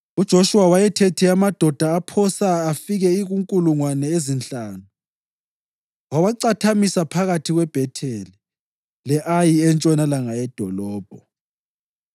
UJoshuwa wayethethe amadoda aphosa afike kunkulungwane ezinhlanu wawacathamisa phakathi kweBhetheli le-Ayi entshonalanga yedolobho.